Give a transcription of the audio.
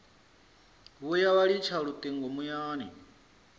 vhuya vha litsha lutingo muyani